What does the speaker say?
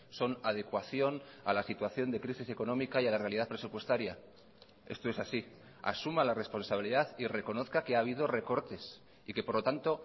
son adecuación a la situación de crisis económica y a la realidad presupuestaria esto es así asuma la responsabilidad y reconozca que ha habido recortes y que por lo tanto